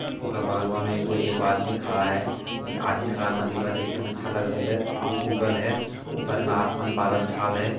ओकर बगलवा में एगो एगो आदमी खड़ा है आदमी खड़ा मंदिलवा देखे में अच्छा लगल है धूप उगल है ऊपर में आसमान बादल छाल है।